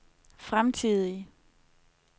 fremtidige